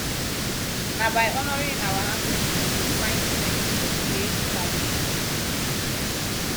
na by honoring our ancestry we go find strength for todays challenges